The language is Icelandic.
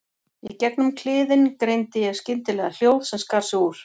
Í gegnum kliðinn greindi ég skyndilega hljóð sem skar sig úr.